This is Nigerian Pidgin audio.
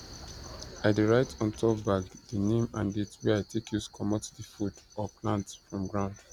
i dey write ontop bag the name and date wey i take use comot the food or plant from ground